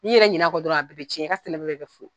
N'i yɛrɛ ɲina kɔ dɔrɔn a bi bɛ cɛn, i ka bɛɛ bi furu kɛ fous